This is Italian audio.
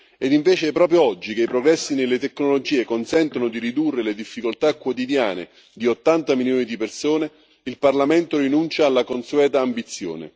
E invece proprio oggi che i progressi nelle tecnologie consentono di ridurre le difficoltà quotidiane di 80 milioni di persone, il Parlamento rinuncia alla consueta ambizione.